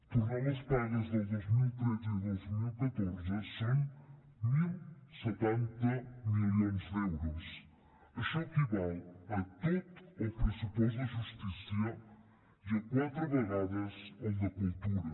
tornar les pagues del dos mil tretze i dos mil catorze són deu setanta milions d’euros això equival a tot el pressupost de justícia i a quatre vegades el de cultura